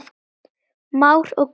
Már og Guðrún.